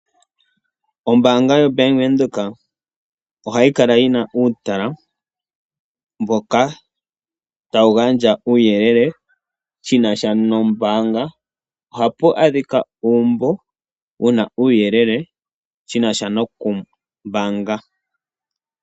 Ombaanga yobank Windhoek ohayi kala yina uutala mboka tawu gandja uuyelele shi nasha nombaanga, ohapu a dhika uumbo wuna uuyelele wu nasha nokumbaanga.